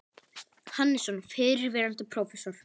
Hannesson, fyrrverandi prófessor.